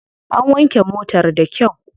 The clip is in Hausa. An wanke motar da kyau.